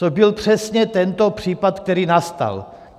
To byl přesně tento případ, který nastal.